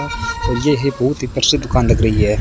और ये है बहुत ही प्रसिद्ध दुकान लग रही है।